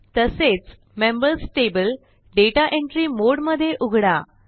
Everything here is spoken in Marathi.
तसेच members table data entry mode मध्ये उघडा